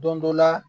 Don dɔ la